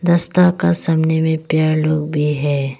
रस्ता का सामने में पेड़ लोग भी है।